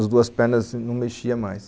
As duas pernas não mexiam mais.